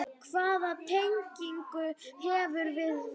Hvaða tengingu hefurðu við Val?